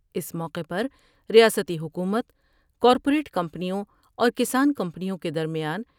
اس موقع پر ریاستی حکومت کار پوریٹ کمپنیوں اور کسان کمپنیوں کے درمیان